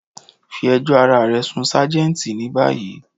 Fí èjò arárẹ̀ sun ṣajẹ́ntì ni bayí.